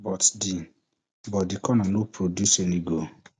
but di but di corner no produce any goal